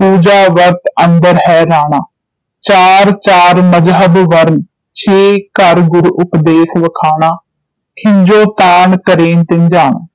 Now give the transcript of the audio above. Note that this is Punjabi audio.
ਪੂਜਾ ਵਰਤ ਅੰਦਰਿ ਹੈਰਾਣਾ ਚਾਰਿ ਚਾਰਿ ਮਜਹਬ ਵਰਨਾ ਛਿਅ ਘਰਿ ਗੁਰੁ ਉਪਦੇਸੁ ਵਖਾਣਾ ਖਿਜੋਤਾਣ ਕਰੇਨਿ ਧਿਙਾਣਾ